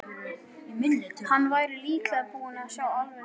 Hann væri líklega búinn að sjá alveg nóg.